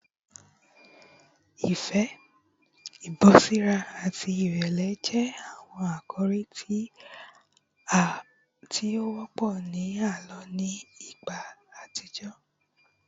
Ifẹ, ibọriṣa ati irẹlẹ jẹ awọn akori ti o wọpọ ti a lo ni igba atijọ